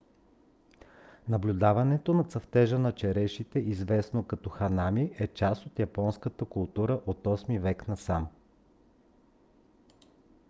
наблюдаването на цъфтежа на черешите известно като ханами е част от японската култура от 8-и век насам